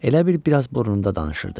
Elə bil biraz burnunda danışırdı.